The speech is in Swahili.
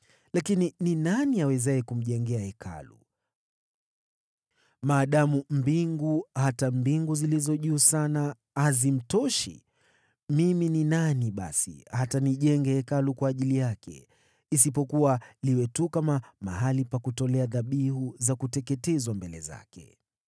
Lakini ni nani awezaye kumjengea Hekalu, maadamu mbingu, hata mbingu zilizo juu sana, haziwezi kumtosha? Mimi ni nani basi hata nimjengee Hekalu, isipokuwa liwe tu mahali pa kutolea dhabihu za kuteketezwa mbele zake?